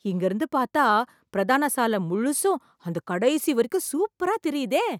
இங்க இருந்து பார்த்தா, பிரதான சால முழுசும், அந்தக் கடைசி வரைக்கும் சூப்பரா தெரியுதே...